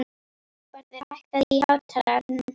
Hagbarður, lækkaðu í hátalaranum.